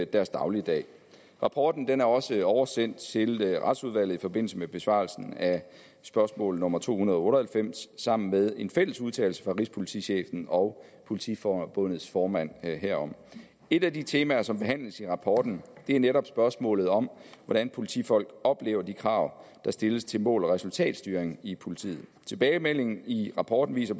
deres dagligdag rapporten er også oversendt til retsudvalget i forbindelse med besvarelsen af spørgsmål nummer to hundrede og otte og halvfems sammen med en fælles udtalelse fra rigspolitichefen og politiforbundets formand herom et af de temaer som behandles i rapporten er netop spørgsmålet om hvordan politifolk oplever de krav der stilles til mål og resultatstyring i politiet tilbagemeldingen i rapporten viser